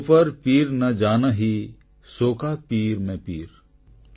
ଜୋ ପର ପୀର ନ ଜାନହୀ ସୋ କା ପୀର ମେ ପୀର